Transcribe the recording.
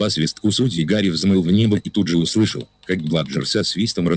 по свистку судьи гарри взмыл в небо и тут же услышал как бладжер со свистом рассекает воздух у него за спиной